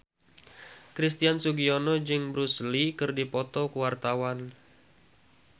Christian Sugiono jeung Bruce Lee keur dipoto ku wartawan